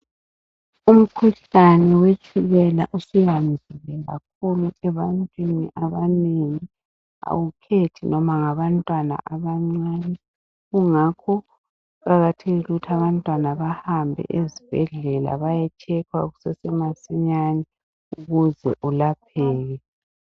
Umkhuhlane wetshukela usuyandile kakhulu ebantwini abanengi. Awukhethi noma ngabantwana abancane. Ngakho kuqakathekile ukuthi abantwana bahambe ezibhedlela. Bayetshekhwa kusasemasinyane, ukuze ulapheke.